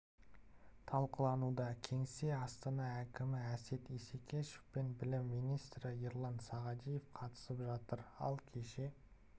талқылануда кеңеске астана әкімі әсет исекешев пен білім министрі ерлан сағадиев қатысып жатыр ал кеше